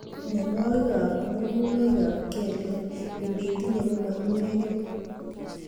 Mnyenwokik ab mununoik ab kelek ingitinye komainyekei.